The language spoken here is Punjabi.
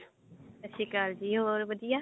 ਸਤਿ ਸ਼੍ਰੀ ਅਕਾਲ ਜੀ ਹੋਰ ਵਧੀਆ